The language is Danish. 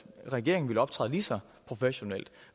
regeringen ville optræde lige så professionelt